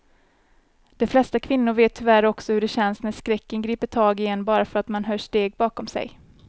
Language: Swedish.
De flesta kvinnor vet tyvärr också hur det känns när skräcken griper tag i en bara för att man hör steg bakom sig.